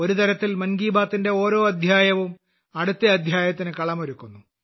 ഒരു തരത്തിൽ മൻ കി ബാത്തിന്റെ ഓരോ അദ്ധ്യായവും അടുത്ത അദ്ധ്യായത്തിന് കളമൊരുക്കുന്നു